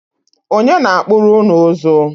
Ọnye na-akpụrụ ụnụ ụzụ?